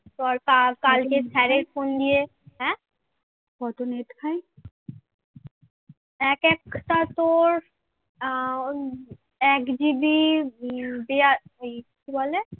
এক GB দিয়া কি বলে